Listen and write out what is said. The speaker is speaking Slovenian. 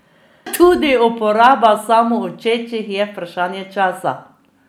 Tudi uporaba samoučečih je vprašanje časa.